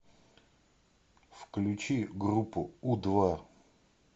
включи группу у два